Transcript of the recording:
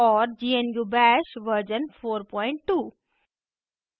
gnu bash version 42